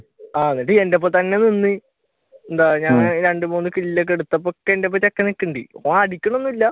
അന്നിട്ട് എന്റെയൊപ്പം തന്നെ നിന്ന് എന്താ ഞാൻ രണ്ടു മൂന്ന് ഒക്കെ എടുത്തപ്പോൾ ഒക്കെ എന്റെയൊപ്പം ചെക്കൻ നിൽക്കുന്നുണ്ട് ഓൻ അടിക്കണ് ഒന്നും ഇല്ല